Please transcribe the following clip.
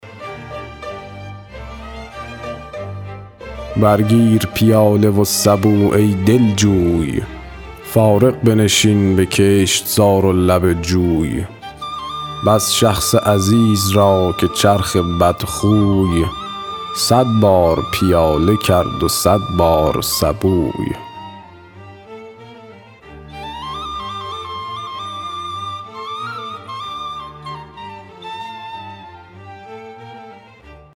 بر گیر پیاله و سبو ای دلجوی فارغ بنشین به کشتزار و لب جوی بس شخص عزیز را که چرخ بدخوی صد بار پیاله کرد و صد بار سبوی